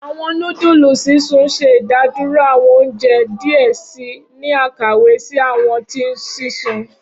Awọn nudulu sisun ṣe idaduro awọn ounjẹ diẹ sii ni akawe si awọn ti sisun.